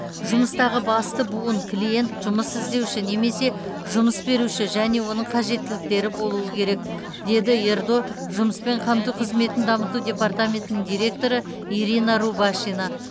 жұмыстағы басты буын клиент жұмыс іздеуші немесе жұмыс беруші және оның қажеттіліктері болуы керек деді ердо жұмыспен қамту қызметін дамыту департаментінің директоры ирина рубашина